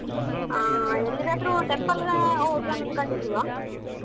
ಆಹ್ ಎಲ್ಲಿಗಾದ್ರು temple ಗ್ ಹೋಗೋನ್ ಅನ್ಕೊಂಡಿದೀವ.